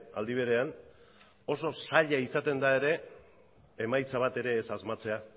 aldi berean oso zaila izaten da ere emaitza bat ere ez asmatzea